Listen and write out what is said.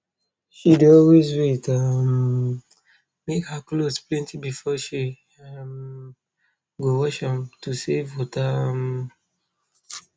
she dey always wait um make her clothes plenty before she um go wash am to save water um